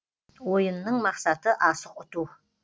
ойынның мақсаты асық ұту